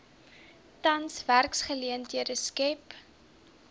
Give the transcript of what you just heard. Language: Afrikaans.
tans werksgeleenthede skep